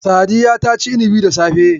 Sadiya ta ci inibi da safe